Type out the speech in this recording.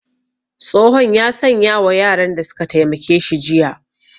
Tsohon ya sanya wa yaran da su ka taimake shi jiya